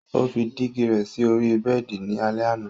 Ó fí dígì rẹ sí ọ̀rí bẹẹ̀di ni alẹ̀ àna.